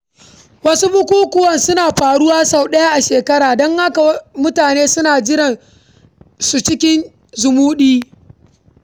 Wasu bukukuwa suna faruwa sau ɗaya a shekara, don haka mutane sukan jira su cikin zumuɗi..